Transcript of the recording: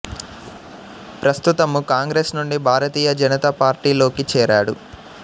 ప్రస్తుతము కాంగ్రెస్ నుండి భారతీయ జనతా పార్టీ లోకి చేరాడు